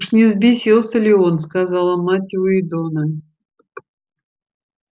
уж не взбесился ли он сказала мать уидона